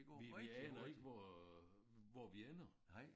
Vi vi aner ikke hvor hvor vi ender